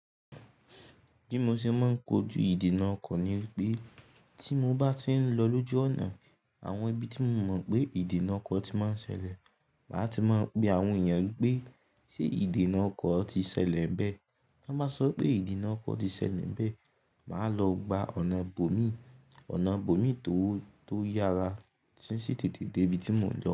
Kí mo ṣe máa ń kojú ìdènà ọkọ̀ ni pé tí mo bá ti ń lọ lójú ọ̀nà, àwọn ibi tí mo mọ̀ pé ìdènà ọkọ̀ ti máa ń ṣẹlẹ̀, màá ti máa ń pe àwọn ènìyàn wípé ṣé ìdènà ọkọ̀ ti ṣẹlẹ̀ bẹ́ẹ̀? Wọ́n bá sọ pé ìdènà ọkọ̀ ti ṣẹlẹ̀ nbẹ́ẹ̀, màá lọ gba ọ̀nà ibò mí, ọ̀nà ibò mí tó yára, tí ó sì tètè dé ibi tí mò ń lọ.